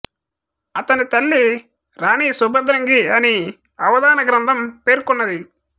అతని తల్లి రాణి సుభద్రంగి అని అవదాన గ్రంథం పేర్కొన్నది